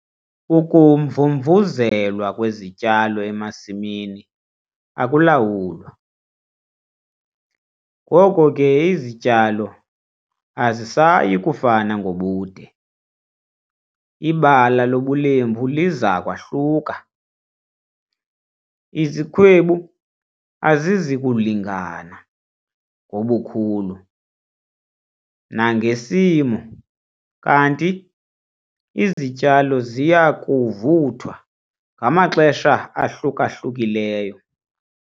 Ukumvumvuzelwa kwezityalo emasimini akulawulwa, ngoko ke izityalo azisayi kufana ngobude, ibala lobulembu liza kwahluka, izikhwebu azizi kulingana ngobukhulu nangesimo kanti izityalo ziya kuvuthwa ngamaxesha ahluka-hlukileyo.